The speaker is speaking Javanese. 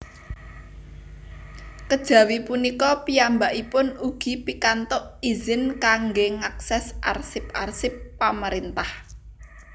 Kejawi punika piyambakipun ugi pikantuk izin kangge ngakses arsip arsip pamarentah